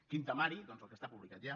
quin temari doncs el que està publicat ja